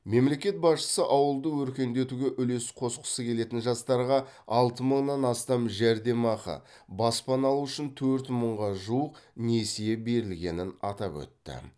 мемлекет басшысы ауылды өркендетуге үлес қосқысы келетін жастарға алты мыңнан астам жәрдемақы баспана алу үшін төрт мыңға жуық несие берілгенін атап өтті